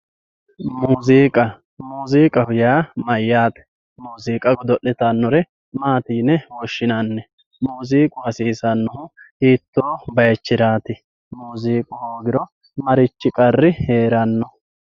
muuziiqa muuziiqaho yaa mayaate muuziiqa goddo'litannore maati yine woshshinanni muuziiqu hasiisannohu hitoo bayiichiraati muuziiqu hoogiro marichi qarri heeranno